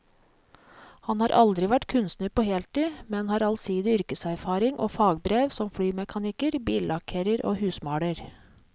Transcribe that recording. Han har aldri vært kunstner på heltid, men har allsidig yrkeserfaring og fagbrev som flymekaniker, billakkerer og husmaler.